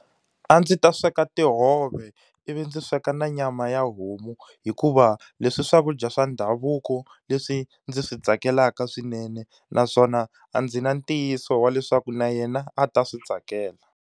A ndzi ta sweka tihove ivi ndzi sweka na nyama ya homu hikuva leswi i swakudya swa ndhavuko leswi ndzi swi tsakelaka swinene, naswona a ndzi na ntiyiso wa leswaku na yena a ta swi tsakela.